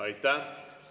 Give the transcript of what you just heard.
Aitäh!